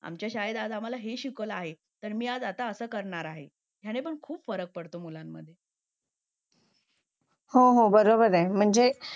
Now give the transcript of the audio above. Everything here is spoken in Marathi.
आमच्या शाळेत आज आम्हाला हे शिकवलं आहे तर मी आज असं करणार आहे आणि पण खूप फरक पडतो मुलांमध्ये हो हो बरोबर आहे म्हणजे